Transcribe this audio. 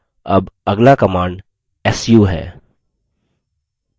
अब अगला command su है